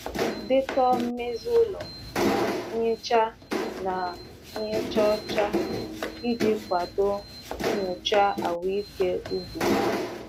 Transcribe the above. Dee ihe niile e mebiri, ebe e mebiri, ebe a sachara, na ebe a gbasa ọgwụ mgbochi nje iji mee ka nyocha ahụike ugbo kwụsie ike.